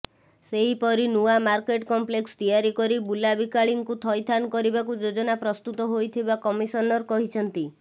ସେହିପରି ନୂଆ market complex ତିଆରି କରି ବୁଲାବିକାଳୀଙ୍କୁ ଥଇଥାନ କରିବାକୁ ଯୋଜନା ପ୍ରସ୍ତୁତ ହୋଇଥିବା କମିଶନର କହିଛନ୍ତି